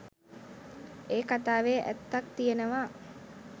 ඒ කතාවේ ඇත්තක් තියෙනවා